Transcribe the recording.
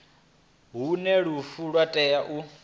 hune lufu lwa tea u